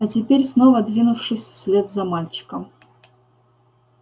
а теперь снова двинувшись вслед за мальчиком